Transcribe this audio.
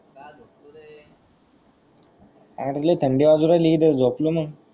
अरे लई थंडी वाजून राहिली तर झोपलो न.